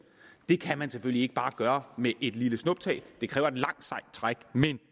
det kan man selvfølgelig ikke bare gøre med et lille snuptag det kræver et langt sejt træk